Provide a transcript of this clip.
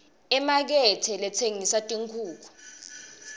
imakethe letsengisa tinkhukhu